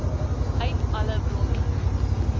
uit alle bronne